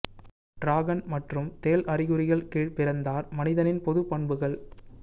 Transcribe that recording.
dragon மற்றும் தேள் அறிகுறிகள் கீழ் பிறந்தார் மனிதனின் பொதுப் பண்புகள்